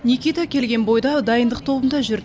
никита келген бойда дайындық тобында жүр